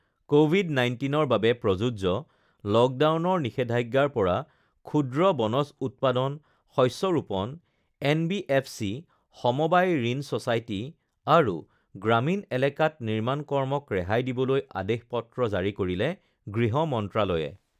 ক ভিড ১৯ৰ বাবে প্ৰযোজ্য লকডাউনৰ নিষেধাজ্ঞাৰ পৰা ক্ষুদ্ৰ বনজ উৎপাদন, শস্য ৰোপণ, এনবিএফচি, সমবায় ঋণ ছ'চাইটি আৰু গ্ৰামীণ এলেকাত নিৰ্মাণ কৰ্মক ৰেহাই দিবলৈ আদেশ পত্ৰ জাৰি কৰিলে গৃহ মন্ত্ৰালয়ে